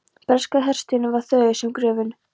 Breska herstjórnin var þögul sem gröfin.